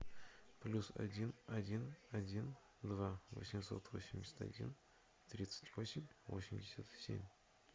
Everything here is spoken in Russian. плюс один один один два восемьсот восемьдесят один тридцать восемь восемьдесят семь